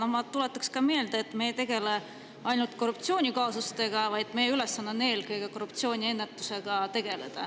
Aga ma tuletan meelde, et me ei tegele ainult korruptsioonikaasustega, vaid meie ülesanne on tegeleda eelkõige korruptsiooniennetusega.